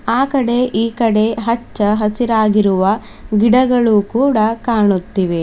ಆ ಕಡೆ ಈ ಕಡೆ ಹಚ್ಚ ಹಸಿರಾಗಿರುವ ಗಿಡಗಳು ಕೂಡ ಕಾಣುತ್ತಿವೆ.